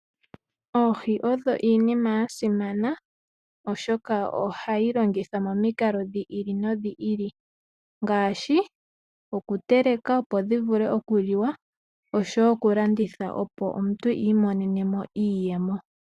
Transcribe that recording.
Oohi odho iinima ya simana oshoka ohadhi longithwa momikalo dhi ili nodhi ili ngaashi okutelekwa opo dhi vule okuliwa, noshowo okulandithwa opo omuntu i imonene mo iiyemo.